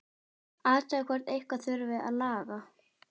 Athugar hvort eitthvað þurfi að laga.